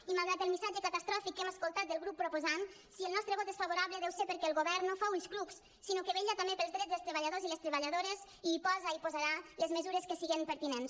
i malgrat el missatge catastròfic que hem escoltat del grup proposant si el nostre vot és favorable deu ser perquè el govern no fa ulls clucs sinó que vetlla també pels drets dels treballadors i les treballadores i hi posa i hi posarà les mesures que siguin pertinents